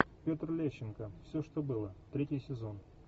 петр лещенко все что было третий сезон